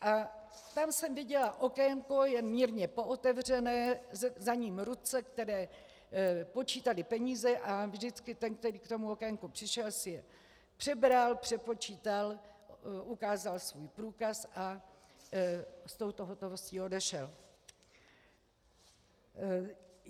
A tam jsem viděla okénko jen mírně pootevřené, za ním ruce, které počítaly peníze, a vždycky ten, kdo k tomu okénku přišel, si je přebral, přepočítal, ukázal svůj průkaz a s touto hotovostí odešel.